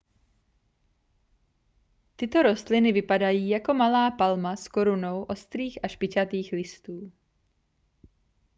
tyto rostliny vypadají jako malá palma s korunou ostrých a špičatých listů